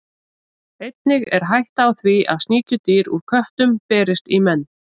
Einnig er hætta á því að sníkjudýr úr köttum berist í menn.